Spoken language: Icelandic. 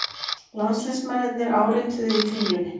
Landsliðsmennirnir árituðu í Kringlunni